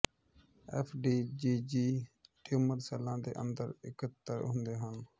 F D G G tumour ਸੈੱਲਾਂ ਦੇ ਅੰਦਰ ਇਕੱਤਰ ਹੁੰਦੇ ਹਨ